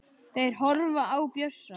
Þeir horfa á Bjössa.